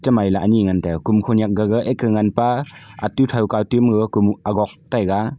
chemai ley ani ngan tai a kom khanyak gaga ek kha nganpa atu a thow kaw agok taiga.